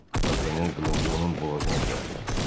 D'Artanyan qılıncı onun boğazına dirədi.